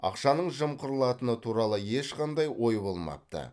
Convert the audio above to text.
ақшаның жымқырылатыны туралы ешқандай ой болмапты